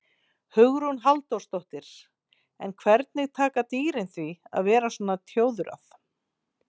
Hugrún Halldórsdóttir: En hvernig taka dýrin því að vera svona tjóðrað?